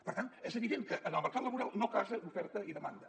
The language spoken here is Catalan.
per tant és evident que en el mercat laboral no casen oferta i demanda